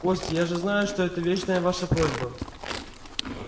костя я же знаю что это вечная ваша просьба